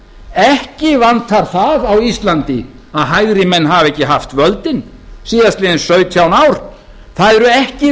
ekki vantar það á íslandi að hægrimenn hafi ekki haft völdin síðastliðinn sautján ár það eru ekki